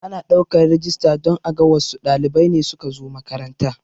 Ana ɗaukan rijista don aga wassu ɗalibai ne suka zo makaranta